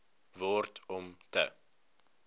word om te